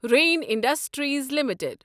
رٮ۪ن industries limited